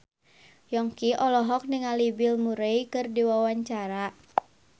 Yongki olohok ningali Bill Murray keur diwawancara